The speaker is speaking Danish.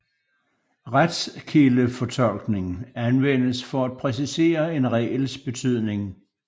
Retskildefortolkning anvendes for at præcisere en regels betydning